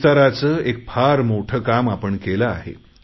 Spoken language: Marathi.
विस्ताराचे एक फार मोठे काम आपण केले आहे